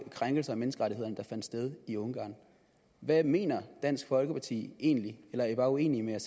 krænkelser af menneskerettighederne der finder sted i ungarn hvad mener dansk folkeparti egentlig eller er i bare uenige med